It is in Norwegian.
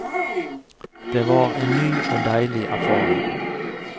Det var en ny og deilig erfaring.